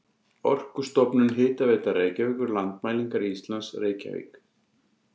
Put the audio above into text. Orkustofnun, Hitaveita Reykjavíkur, Landmælingar Íslands, Reykjavík.